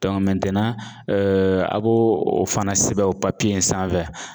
a b'o o fana sɛbɛn o papiye in sanfɛ